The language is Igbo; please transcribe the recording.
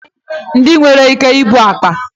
Ndị nwere ike ibu akpa